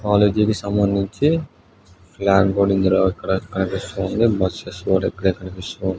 College కి సంబంధించి flag పడిందిరా ఇక్కడ . బసేస్ కూడా ఇక్కడే కనిపిస్తూ ఉన్--